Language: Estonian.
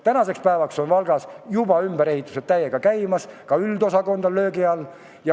Tänaseks päevaks on Valgas juba ümberehitused täiega käimas, ka üldosakond on löögi all.